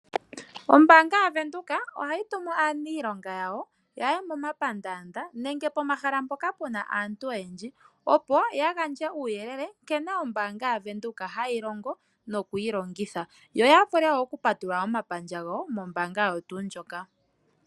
Ombaanga yaVenduka ohayi tumu aaniilonga yawo yaye momapandaanda nenge pomahala mpoka puna aantu oyendji, opo ya gandje uuyelele nkene ombaanga yaVenduka hayi longo nokuyi longitha, yo yavule wo okutota omapandja gawo mombaanga oyo tuu ndjoka.